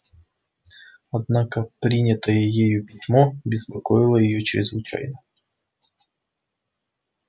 однако принятое ею письмо беспокоило её чрезвычайно